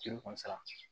Juru kɔni sara